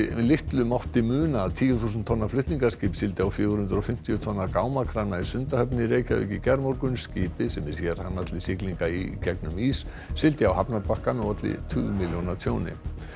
litlu mátti muna að tíu þúsund tonna flutningaskip sigldi á fjögur hundruð og fimmtíu tonna gámakrana í Sundahöfn í gærmorgun skipið sem er sérhannað til siglinga í gegnum ís sigldi á hafnarbakkann og olli tugmilljóna tjóni